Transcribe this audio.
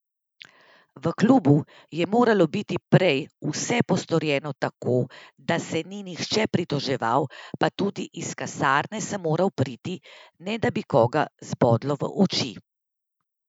V klubu je moralo biti prej vse postorjeno tako, da se ni nihče pritoževal, pa tudi iz kasarne sem moral priti, ne da bi koga zbodlo v oči.